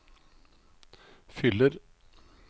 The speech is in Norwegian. fyller